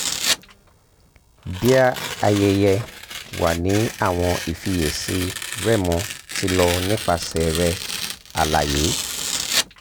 dear ayẹyẹ wa ni awọn ìfiyèsí rẹ́mo ti lọ nipasẹ rẹ alaye